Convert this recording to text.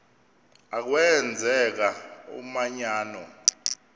a kwenzeka umanyano